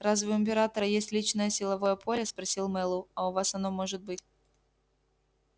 разве у императора есть личное силовое поле спросил мэллоу а у вас оно может быть